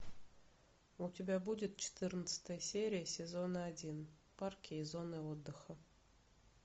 у тебя будет четырнадцатая серия сезон один парки и зоны отдыха